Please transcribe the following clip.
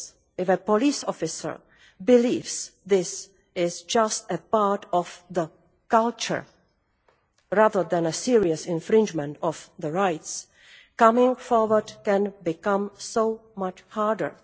If a police officer believes this is just a part of the culture, rather than a serious infringement of rights, coming forward can become so much harder.